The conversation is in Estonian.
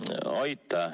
Aitäh!